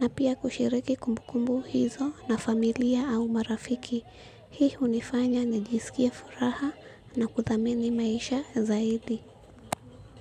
na pia kushiriki kumbukumbu hizo na familia au marafiki. Hii hunifanya nijisikie furaha na kuthamini maisha zaidi.